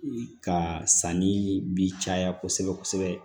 Ka sanni bi caya kosɛbɛ kosɛbɛ